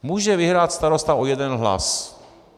Může vyhrát starosta o jeden hlas.